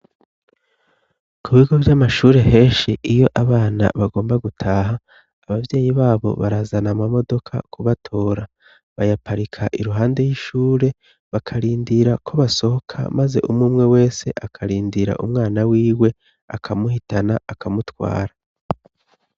ku bigo vy'amashure henshi iyo abana bagomba gutaha abavyeyi babo barazana ama modoka kubatora bayaparika iruhande y'ishure bakarindira ko basohoka maze umumwe wese akarindira umwana wiwe akamuhitana akamutwara